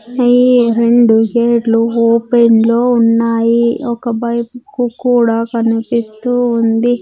ఈ రెండు గేట్లు ఓపెన్ లో ఉన్నాయి ఒక బైక్కు కూడా కనిపిస్తూ ఉంది.